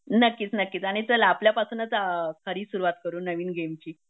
आणि चल आपल्यापासूनच खरी सुरुवात करू नवीन गेमची